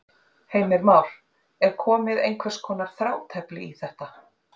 Heimir Már: Er komið einhvers konar þrátefli í þetta?